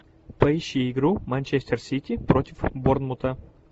поищи игру манчестер сити против борнмута